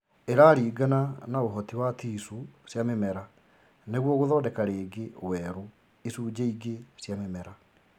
ĩraringana na ũhoti wa ticuu cia mĩmera nĩguo gũthondeka rĩngĩ werũ icunjĩ ingĩ cia mĩmera